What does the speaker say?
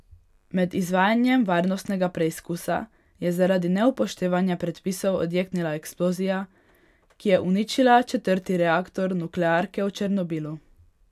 Med izvajanjem varnostnega preizkusa je zaradi neupoštevanja predpisov odjeknila eksplozija, ki je uničila četrti reaktor nuklearke v Černobilu.